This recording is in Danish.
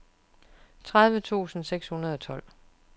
tredive tusind seks hundrede og tolv